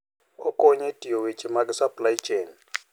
Okonyo e tayo weche mag supply chain.